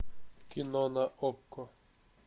кино на окко